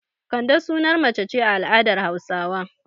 Kande sunar mace ce a al'adar Hausawa.